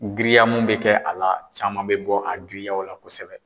Giriya mun bɛ kɛ a la caman bɛ bɔ a giriyaw la kosɛbɛ.